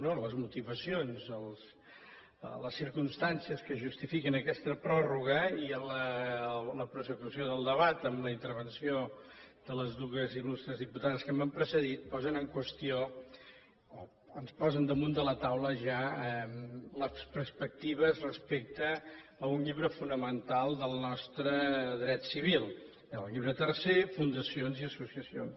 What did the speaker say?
no les motivacions les circumstàncies que justifiquen aquesta pròrroga i la prossecució del debat amb la intervenció de les dues il·lustres diputades que m’han precedit posen en qüestió o ens posen damunt de la taula ja les perspectives respecte a un llibre fonamental del nostre dret civil el llibre tercer fundacions i associacions